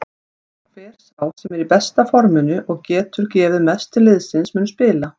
Hver sá sem er í besta forminu og getur gefið mest til liðsins mun spila.